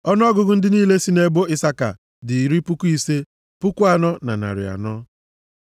Ọnụọgụgụ ndị niile sị nʼebo Isaka dị iri puku ise, puku anọ na narị anọ (54,400).